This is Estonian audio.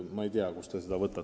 Ma ei tea, kust te seda võtate.